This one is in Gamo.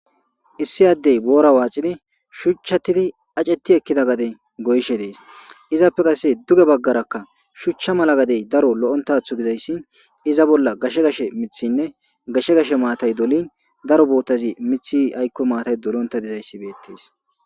Issi Adey boora waxid shuchatid acet ekida gade goyishe Des . Izappe qase duge bagaraka shucha gadey daro lo'ontatho gizays iza bolla gashe gashe mithine matay dolin daro botaz aykoy dolonta dhzay betes